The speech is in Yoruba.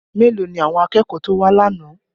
Mélòó ni àwọn akẹ́kọ̀ọ́ tó wá lánàá?